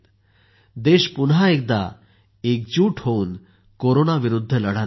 देश पुन्हा एकदा एकजूट होऊन कोरोनाविरुध्द लढा देत आहेत